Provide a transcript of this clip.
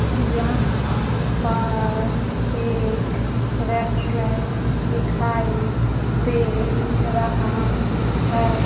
यहां पर एक रेस्टोरेंट दिखाई दे रहा है।